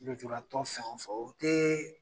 Lujuratɔ o fɛn o fɛn, o